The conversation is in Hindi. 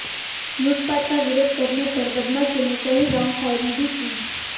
लूटपाट का विरोध करने पर बदमाशों ने कई राउंड फायरिंग भी की